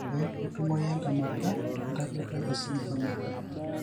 Eeh, ketumoyu entemata entalipa esindirom eBartter.